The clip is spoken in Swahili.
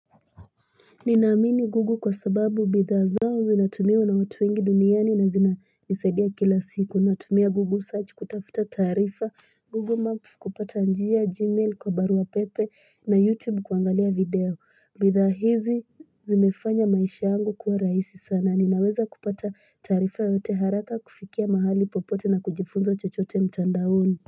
Ninaamini Google kwa sababu bidhaa zao zinatumiwa na watu wengi duniani na zinanisaidia kila siku Natumia Google search kutafuta tarifa, Google Maps kupata njia, Gmail kwa barua pepe na YouTube kuangalia video bidhaa hizi zimefanya maisha yangu kuwa rahisi sana, ninaweza kupata tarifa yote haraka kufikia mahali popote na kujifunza chachote mtandaoni.